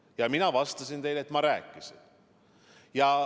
Ja mina vastasin teile, et ma rääkisin.